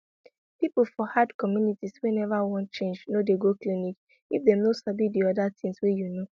people for hard communities wey never wan change no dey go clinic if dem no sabi the other things wey you know